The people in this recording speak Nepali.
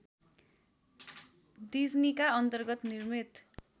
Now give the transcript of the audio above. डिज्नीका अन्तर्गत निर्मित